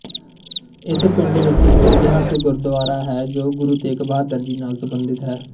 ਇਸ ਪਿੰਡ ਵਿੱਚ ਇੱਕ ਇਤਿਹਾਸਿਕ ਗੁਰਦੁਆਰਾ ਹੈ ਜੋ ਗੁਰੂ ਤੇਗ ਬਹਾਦਰ ਜੀ ਨਾਲ ਸੰਬੰਧਿਤ ਹੈ